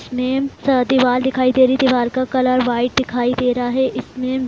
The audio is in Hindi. मेम सा दिवाल दिखाई दे रही है | दीवाल कलर वाईट दिखाई दे रहा है | इसमें--